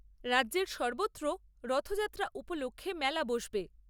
রাজ্যের সর্বত্র রথযাত্রা উপলক্ষে মেলা বসবে।